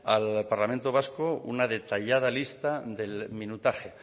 al parlamento vasco una detallada lista del minutaje